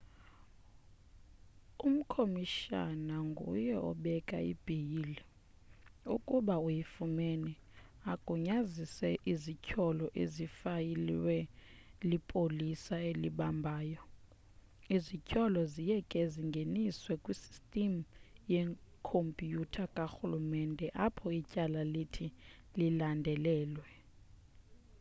umkomishana nguye obeka ibheyile ukuba uyifumene agunyazise izithyolo ezifayilwe lipolisa elibambayo.izithyolo ziye ke zingeniswe kwisystem yekompyutha karhulumente apho ityala lithi lilandelelwe